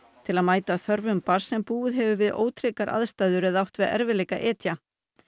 til að mæta þörfum barns sem búið hefur við ótryggar aðstæður eða átt við erfiðleika að etja